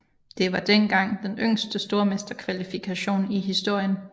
Det var dengang den yngste stormesterkvalifikation i historien